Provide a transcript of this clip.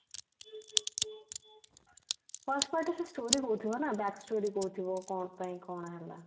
first part ରେ ସେ story ଦଉଥିବ ନା back story ଦଉଥିବ କଣ ପାଇଁ କଣ ହେଲା